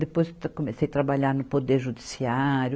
Depois comecei a trabalhar no Poder Judiciário.